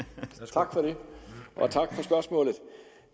tak for det og tak for spørgsmålet